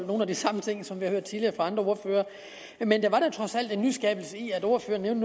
nogle af de samme ting som vi har hørt tidligere fra andre ordførere men der var da trods alt en nyskabelse i at ordføreren